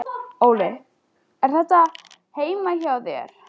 Óli: Er þetta heima hjá þér?